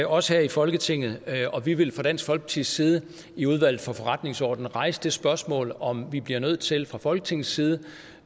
også her i folketinget og vi vil fra dansk folkepartis side i udvalget for forretningsordenen rejse det spørgsmål om vi bliver nødt til fra folketingets side